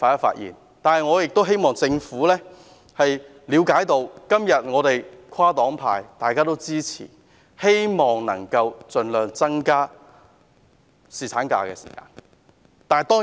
不過，我希望政府了解，今天跨黨派支持其方案，是希望能夠盡量增加侍產假的日數。